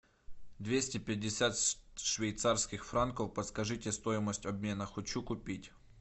двести пятьдесят швейцарских франков подскажите стоимость обмена хочу купить